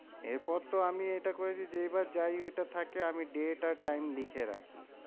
এরপর তো আমি এটা করেছি যে, এবার যাই ওইটা থাকে আমি date আর time লিখে রাখি।